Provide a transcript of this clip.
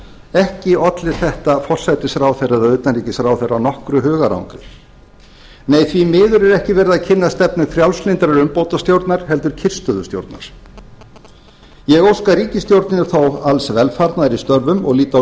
ekki olli þetta forsætisráðherra eða utanríkisráðherra nokkru hugarangri nei því miður er ekki verið að kynna stefnu frjálslyndrar umbótastjórnar heldur kyrrstöðustjórnar ég óska ríkisstjórninni þó alls velfarnaðar í störfum og lít á